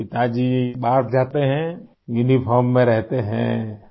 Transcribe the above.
تو یہ پتاجی باہر جاتے ہیں ، یونیفارم میں رہتے ہیں